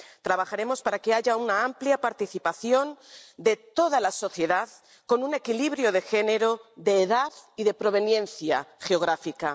Trabajaremos para que haya una amplia participación de toda la sociedad, con un equilibrio de género, de edad y de proveniencia geográfica.